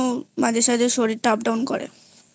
মাঝে সাঝে শরীরটা Up Down করেI